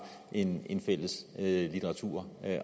en en fælles litteratur